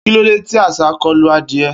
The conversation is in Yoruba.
Kilode ti àṣá kolu adie?